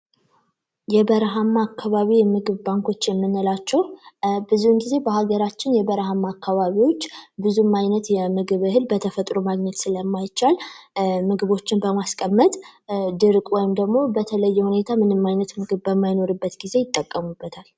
የበረሀማ አካባቢ የምግብ ባንኮች የምንላቸው ብዙውን ጊዜ በሀገራችን የበረሀማ አካባቢዎች ብዙም እህል በተፈጥሮ ማግኘት ስለማይችል ምግቦችን በማስቀመጥ ድርቅ ወይም ደግሞ በተለያየ ሁኔታ ምንም አይነት ምግብ ማመይኖርበት ጊዜ ይጠቀሙበታል።